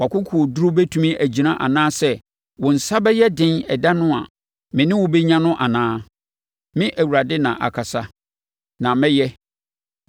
Wʼakokoduro bɛtumi agyina anaa sɛ wo nsa bɛyɛ den ɛda no a me ne wo bɛnya no anaa? Me Awurade na akasa, na mɛyɛ.